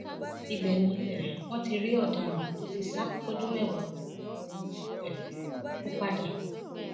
ibẹ ni um wọn ti rí ọdaràn tó ti sá fọdún mẹwàá ọhún um mú padà